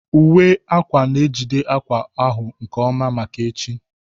Uwe akwa na-ejide akwa ahụ nke ọma maka echi